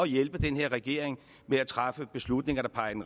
hjælpe den her regering med at træffe beslutninger der peger